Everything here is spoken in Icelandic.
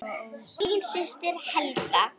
Þín systir, Helga.